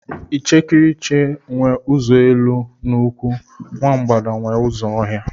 Ichekiriche nwe ụzọ elu nkwụ, nwa mgbada nwe ụzọ ọhịa.